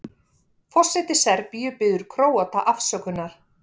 Forseti Serbíu biður Króata afsökunar